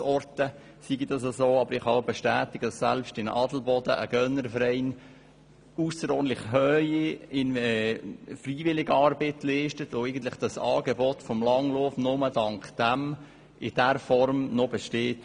Ich kann aber bestätigen, dass selbst in Adelboden ein Gönnerverein ausserordentlich intensive Freiwilligenarbeit leistet, weil das Angebot des Langlaufs nur dank dieser noch in dieser Form besteht.